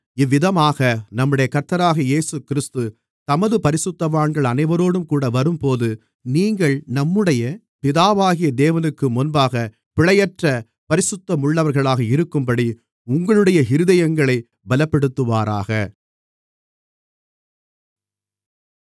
இவ்விதமாக நம்முடைய கர்த்தராகிய இயேசுகிறிஸ்து தமது பரிசுத்தவான்கள் அனைவரோடும்கூட வரும்போது நீங்கள் நம்முடைய பிதாவாகிய தேவனுக்கு முன்பாகப் பிழையற்ற பரிசுத்தமுள்ளவர்களாக இருக்கும்படி உங்களுடைய இருதயங்களைப் பலப்படுத்துவாராக